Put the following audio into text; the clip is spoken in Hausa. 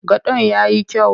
Gadon ya yi kyau?